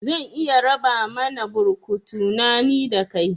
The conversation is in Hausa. Zan iya raba mana burkutu na, ni da kai